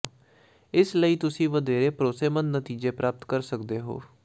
ਇਸ ਲਈ ਤੁਸੀਂ ਵਧੇਰੇ ਭਰੋਸੇਮੰਦ ਨਤੀਜੇ ਪ੍ਰਾਪਤ ਕਰ ਸਕਦੇ ਹੋ